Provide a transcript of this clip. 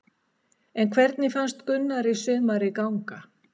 En hvernig fannst Gunnari sumarið ganga?